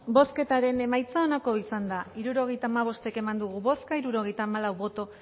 bozketaren emaitza onako izan da hirurogeita hamabost eman dugu bozka hirurogeita hamalau boto